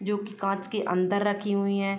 जो की काँच के अंदर रखी हुईं हैं।